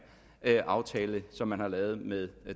aftale som man har lavet med